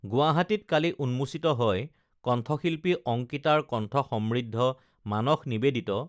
গুৱাহাটীত কালি উন্মোচিত হয় কণ্ঠশিল্পী অংকিতাৰ কণ্ঠ সমৃদ্ধ মানস নিবেদিত